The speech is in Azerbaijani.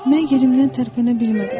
Mən yerimdən tərpənə bilmədim.